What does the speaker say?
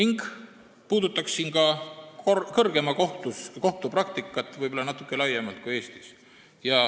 Ma puudutaksin ka kõrgeima kohtu praktikat natuke laiemalt kui ainult Eestis.